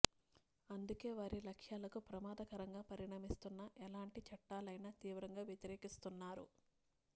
అందుకే వారి లక్ష్యాలకు ప్రమాదకరంగా పరిణమిస్తున్న ఎలాం టి చట్టాలైనా తీవ్రంగా వ్యతిరేకిస్తున్నారు